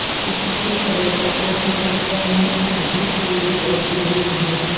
इससे पर्यटकों की संख्या में अभूतपूर्व वृद्धि हुई है